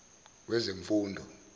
wezemfundo